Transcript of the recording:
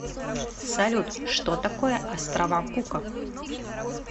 салют что такое острова кука